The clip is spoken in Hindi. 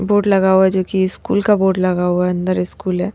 बोर्ड लगा हुआ है जो कि स्कूल का बोर्ड लगा हुआ है अंदर स्कूल है।